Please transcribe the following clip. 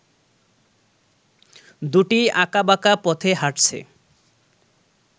দুটিই আকাঁবাকা পথে হাটছে